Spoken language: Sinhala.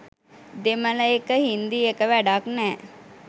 දෙමළ එක –හින්දි එක වැඩක් නෑ